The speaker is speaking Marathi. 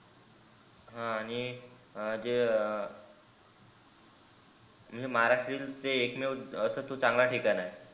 हा आणि जे म्हणजे माहाराष्ट्राचे एक मेव अस ते चांगला ठिकाण आहे.